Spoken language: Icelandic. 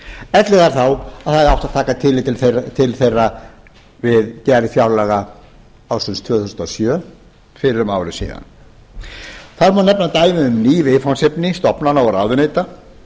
ellegar þá að það hefði átt að taka tillit til þeirra við gerð fjárlaga ársins tvö þúsund og sjö fyrir um ári síðan það má nefna dæmi um ný viðfangsefni stofnana og ráðuneyta